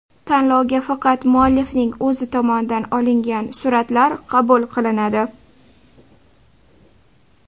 Tanlovga faqat muallifning o‘zi tomonidan olingan suratlar qabul qilinadi.